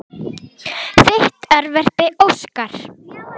Þitt örverpi Óskar.